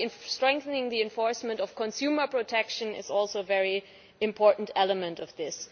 Strengthening the enforcement of consumer protection is also a very important element of this.